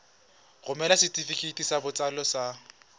romela setefikeiti sa botsalo sa